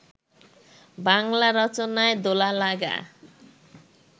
বাঙলা রচনায় দোলা-লাগা